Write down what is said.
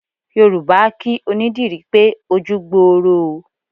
Yorùbá a kí onídìrí pé ojú gboro o.